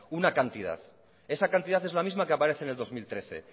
una cantidad esa cantidad es la misma que aparece en el dos mil trece